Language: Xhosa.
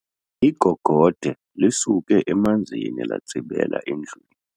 Igogode lisuke emanzini latsibela endlwini.